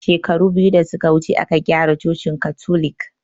Shekaru biyu da suke wuce aka gyara cocin katolik